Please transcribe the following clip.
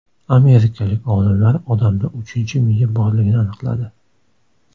Amerikalik olimlar odamda uchinchi miya borligini aniqladi.